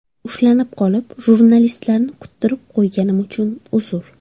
Ushlanib qolib, jurnalistlarni kuttirib qo‘yganim uchun uzr.